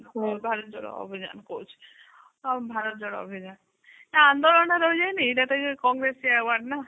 ଭାରତର ଅଭିଯାନ କହୁଛି ଆଉ ଭାତର ଯୋଡ ଅଭିଯାନ ଯୋଉ ଆନ୍ଦୋଳନ ରହି ଯାଇନି ସେଟା ବି କଂଗ୍ରେସ ନା